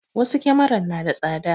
Wasu kyamaran na da tsada